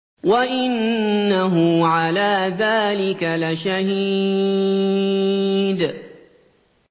وَإِنَّهُ عَلَىٰ ذَٰلِكَ لَشَهِيدٌ